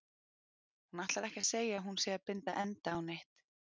Hún ætlar ekki að segja að hún sé að binda enda á neitt.